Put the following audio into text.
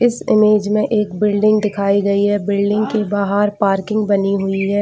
इस इमेज में एक बिल्डिंग दिखाई गई है बिल्डिंग के बाहर पार्किंग बनी हुई है।